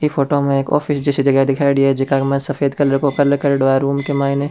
इ फोटो में एक ऑफिस जैसे जगह दिखायेडी है जेका के माइन सफ़ेद कलर क्रेऐडो है रूम के माइन।